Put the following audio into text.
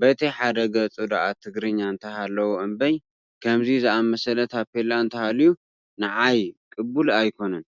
በቲ ሓደ ገፁ ድኣ ትግርኛ እንተሃለዎ እምበር ከምዚ ዝኣምሰለ ታፔላ እንተሃልዩ ንዓይ ቅቡል ኣይኮነን፡፡